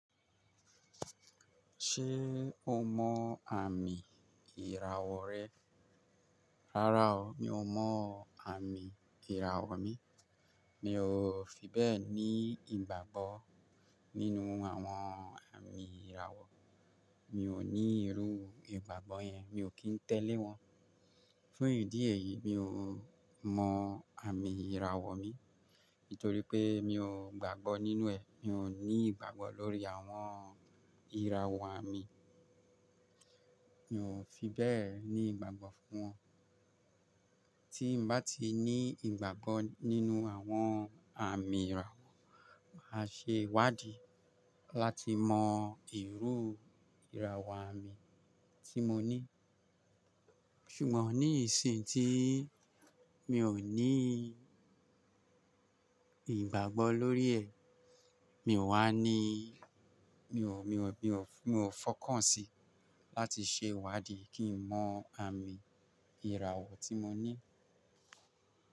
Ṣé o mọ àmì ìràwọ̀ rẹ? Rárá o, mi ò mọ àmì ìràwọ̀ mi. Mi ò fi bẹ́ẹ̀ ní ìgbàgbọ́ nínú àwọn àmì ìràwọ̀. Mi ò ní irú ìgbàgbọ́ yẹn, mi ò kí ń tẹ̀lé wọn. Fun eyín díẹ̀ yìí mi ò mọ àmì ìràwọ̀ mi, nítorí pé mi ò gbàgbọ́ nínú ẹ̀. Mi ò ní ìgbàgbọ́ lórí àwọn ìràwọ̀ àmì. Mi ò fi bẹ́ẹ̀ ní ìgbàgbọ́ fún wọn. Tí mo bá ti ní ìgbàgbọ́ nínú àwọn àmì ìràwọ̀, màá ṣe ìwádií láti mọ irú ìràwọ̀ àmì tí mo ní. Ṣùgbọ́n ní ìsìn tí mi ò ní ìgbàgbọ́ lórí ẹ̀, mi ò wá ní, mi ò, mi ò, mi ò fọkàn sí láti ṣe ìwádìí kí ń mọ àmì ìràwọ̀ tí mo ní.